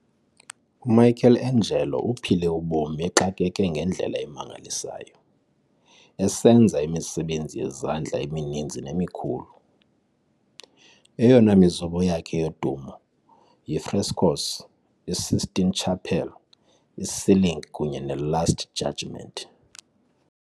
UMichelangelo uphile ubomi exakeke ngendlela emangalisayo, esenza imisebenzi yezandla emininzi nemikhulu. Eyona mizobo yakhe yodumo y ifrescos, i Sistine Chapel iCeiling kunye ne "Last Judgement".